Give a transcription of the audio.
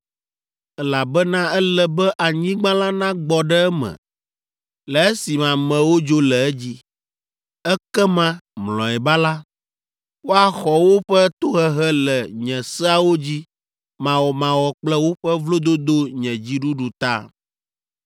elabena ele be anyigba la nagbɔ ɖe eme le esime amewo dzo le edzi. Ekema, mlɔeba la, woaxɔ woƒe tohehe le nye seawo dzi mawɔmawɔ kple woƒe vlododo nye dziɖuɖu ta.